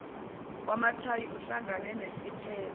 wamathayi uhlangene nesipele